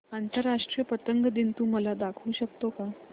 आंतरराष्ट्रीय पतंग दिन तू मला दाखवू शकतो का